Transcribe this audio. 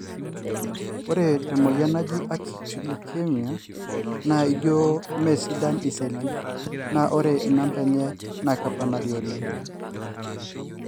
ore temoyian naaji acute lukemia, na ijio mesidan iseli na ore inumber enye na keponari oleng.